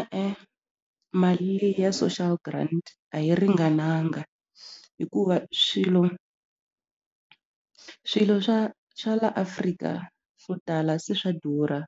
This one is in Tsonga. E-e mali leyi ya social grant a yi ringananga hikuva swilo swilo swa swa la Afrika swo tala se swa durha